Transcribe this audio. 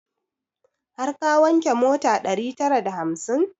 Har ka wanke mota ɗari tara da hamsin?